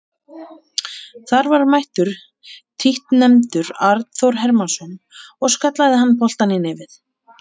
Þar var mættur títtnefndur Arnþór Hermannsson og skallaði hann boltann í netið.